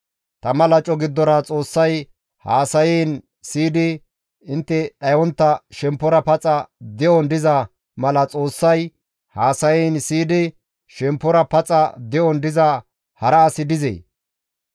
Tama laco giddora Xoossay haasayiin siyidi intte dhayontta shemppora paxa de7on diza mala Xoossay haasayiin siyidi shemppora paxa de7on diza hara asi dizee?